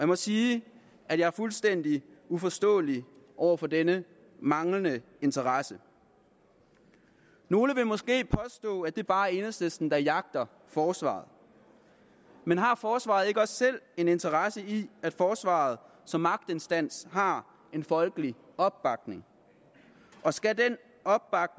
må sige at jeg er fuldstændig uforstående over for denne manglende interesse nogle vil måske påstå at det bare er enhedslisten der jagter forsvaret men har forsvaret ikke også selv en interesse i at forsvaret som magtinstans har en folkelig opbakning og skal